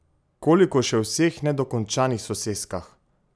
Koliko še v vseh nedokončanih soseskah!